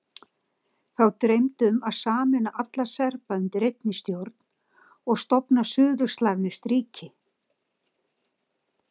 Þá dreymdi um að sameina alla Serba undir einni stjórn og stofna suður-slavneskt ríki.